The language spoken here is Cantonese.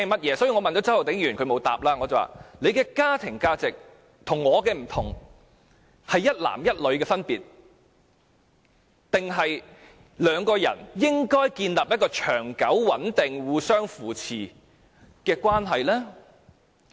我曾經問周浩鼎議員，他的家庭價值與我的不同，分別在於一男一女，還是兩個人應該建立一個長久、穩定、互相扶持的關係呢？